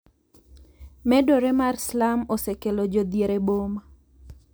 Medore mar slum osekelo jodhier e boma.